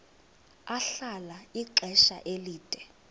ahlala ixesha elide